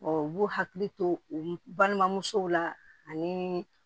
u b'u hakili to balimamusow la ani